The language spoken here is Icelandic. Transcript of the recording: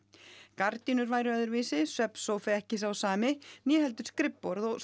gardínur væru öðruvísi svefnsófi ekki sá sami né heldur skrifborð og